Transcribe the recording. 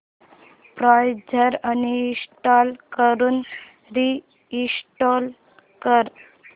browser uninstall करून reinstall कर